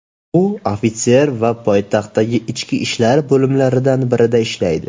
U ofitser va poytaxtdagi ichki ishlar bo‘limlaridan birida ishlaydi.